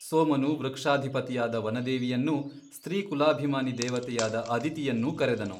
ಸೋಮನು ವೃಕ್ಷಾಧಿಪತಿಯಾದ ವನದೇವಿಯನ್ನೂ ಸ್ತ್ರೀಕುಲಾಭಿಮಾನಿ ದೇವತೆಯಾದ ಅದಿತಿಯನ್ನೂ ಕರೆದನು.